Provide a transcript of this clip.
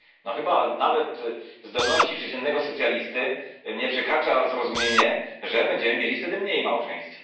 Chyba nawet zdolności przeciętnego socjalisty nie przekracza zrozumienie, że będziemy mieli wtedy mniej małżeństw.